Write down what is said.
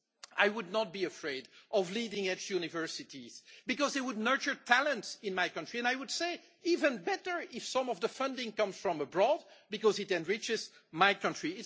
I would not be afraid of leading edge universities because they would nurture talent in my country, and I would say even better if some of the funding comes from abroad because it enriches my country.'